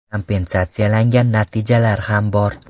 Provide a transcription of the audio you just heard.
Kompensatsiyalangan natijalar ham bor.